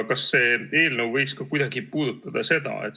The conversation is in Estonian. Kas see eelnõu võiks kuidagi ka seda puudutada?